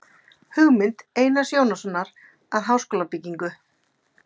Hugmynd Einars Jónssonar að háskólabyggingu.